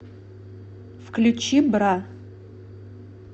включи бра